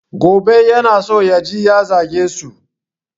Gobe yana so yaje ya zage su